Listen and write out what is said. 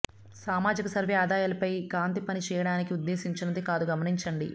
సామాజిక సర్వే ఆదాయాలపై కాంతి పని చేయడానికి ఉద్దేశించినది కాదు గమనించండి